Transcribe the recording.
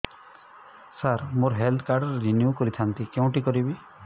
ସାର ମୋର health card renew କରିଥାନ୍ତି କେଉଁଠି କରିବି